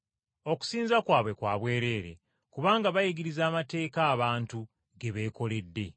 ‘Okusinza kwabwe kwa bwereere. Kubanga bayigiriza amateeka abantu ge beekoledde.’ ”